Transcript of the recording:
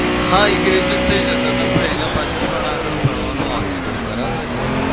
હા એ graduate થઇ જતા પણ એના પાછળ પણ આગળ ભણવાનું આવતું હતું. બરાબર છે?